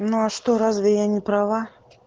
ну а что разве я не права